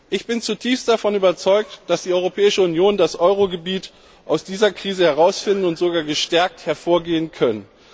Ich bin zutiefst davon überzeugt, dass die Europäische Union und das Euro Gebiet aus dieser Krise herausfinden und sogar gestärkt hervorgehen können.